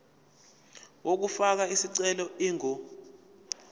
yokufaka isicelo ingu